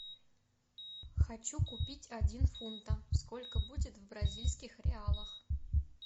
хочу купить один фунта сколько будет в бразильских реалах